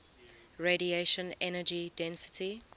radiation energy density